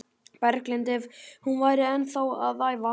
Berglind ef hún væri ennþá að æfa.